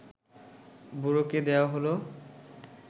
বুড়োকে দেওয়া হল